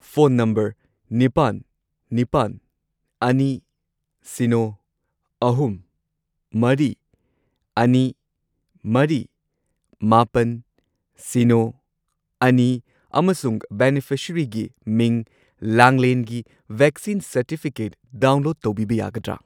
Phone number ꯅꯤꯄꯥꯟ, ꯅꯤꯄꯥꯟ, ꯑꯅꯤ, ꯁꯤꯅꯣ, ꯑꯍꯨꯝ, ꯃꯔꯤ, ꯑꯅꯤ, ꯃꯔꯤ, ꯃꯥꯄꯟ, ꯁꯤꯅꯣ, ꯑꯅꯤ ꯑꯃꯁꯨꯡ ꯕꯦꯅꯤꯐꯤꯁꯔꯤꯒꯤ ꯃꯤꯡ ꯂꯥꯡꯂꯦꯟꯒꯤ ꯚꯦꯛꯁꯤꯟ ꯁꯔꯇꯤꯐꯤꯀꯦꯠ ꯗꯥꯎꯟꯂꯣꯗ ꯇꯧꯕꯤꯕ ꯌꯥꯒꯗ꯭ꯔꯥ?